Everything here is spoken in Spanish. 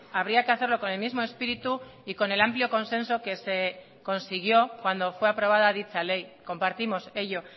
habría que hacerlo con el mismo espíritu y con el amplio consenso que se consiguió cuando fue aprobada dicha ley compartimos ello